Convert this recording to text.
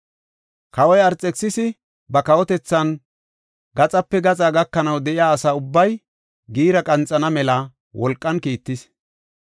Kawoy Arxekisisi ba kawotethan gaxape gaxa gakanaw de7iya asa ubbay giira qanxana mela wolqan kiittis.